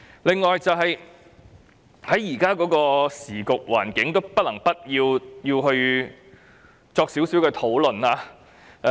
另外，在現在的時局環境下，不能不作一點討論。